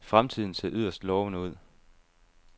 Fremtiden ser yderst lovende ud.